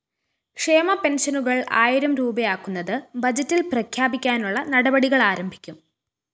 ക്ഷേമ പെന്‍ഷനുകള്‍ ആയിരം രൂപയാക്കുന്നത് ബജറ്റില്‍ പ്രഖ്യാപിക്കാനുള്ള നടപടികളാരംഭിക്കും